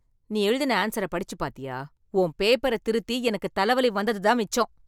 நீ எழுதின ஆன்ஸர படிச்சு பாத்தியா? உன் பேப்பர திருத்தி எனக்குத் தலவலி வந்தது தான் மிச்சம்